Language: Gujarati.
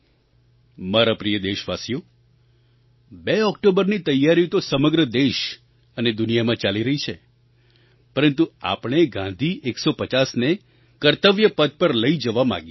મારા પ્રિય દેશવાસીઓ 2 ઑક્ટોબરની તૈયારીઓ તો સમગ્ર દેશ અને દુનિયામાં ચાલી રહી છે પરંતુ આપણે ગાંધી 150ને કર્તવ્યપથ પર લઈ જવા માગીએ છીએ